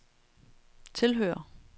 tilhører